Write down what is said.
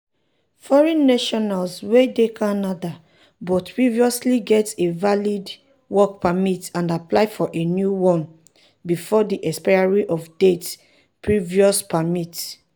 foreign nationals wey dey canada but previously get a valid work permit and apply for a new one bifor di expiry of dia previous permit.